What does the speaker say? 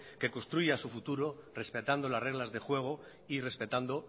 que construya su futuro respetando las reglas de juego y respetando